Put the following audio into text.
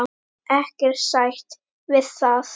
Ekkert sætt við það!